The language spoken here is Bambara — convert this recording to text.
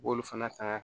U b'olu fana ta